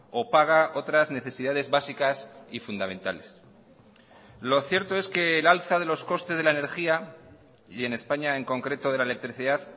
o paga otras necesidades básicas y fundamentales lo cierto es que el alza de los costes de la energía y en españa en concreto de la electricidad